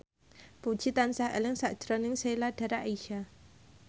Puji tansah eling sakjroning Sheila Dara Aisha